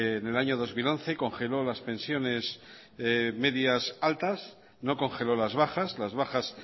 en el año dos mil once congeló las pensiones medias altas no congeló las bajas las bajas